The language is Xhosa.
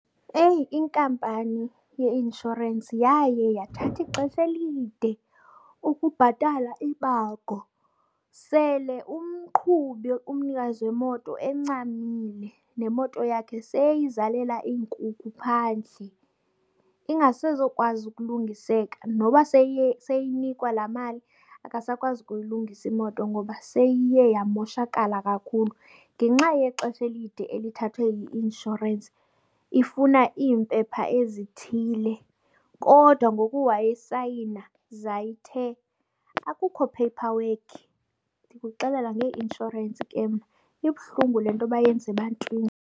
Eyi, inkampani yeinshorensi yaye yathatha ixesha elide ukubhatala ibango sele umqhubi, umnikazi wemoto encamile, nemoto yakhe seyizalela iinkukhu phandle ingasezokwazi ukulungiseka. Noba seyinikwa laa mali akasakwazi ukuyilungisa imoto, ngoba seyiye yamoshakala kakhulu ngenxa yexesha elide elithathwe yi-inshorensi ifuna iimpepha ezithile. Kodwa ngoku wayesayina zayithe akukho paperwork. Ndikuxelela ngeeinshorensi ke mna. Ibuhlungu le nto bayenza ebantwini.